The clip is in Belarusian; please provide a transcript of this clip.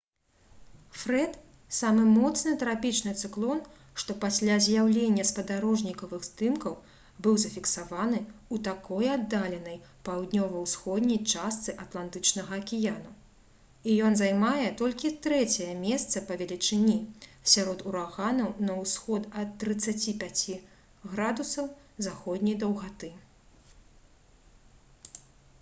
фрэд — самы моцны трапічны цыклон што пасля з'яўлення спадарожнікавых здымкаў быў зафіксаваны ў такой аддаленай паўднёва-ўсходняй частцы атлантычнага акіяну і ён займае толькі трэцяе месца па велічыні сярод ураганаў на ўсход ад 35 ° з.д